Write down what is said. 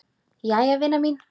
Jæja vina mín.